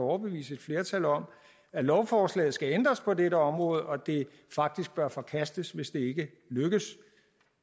overbevise et flertal om at lovforslaget skal ændres på dette område og at det faktisk bør forkastes hvis det ikke lykkes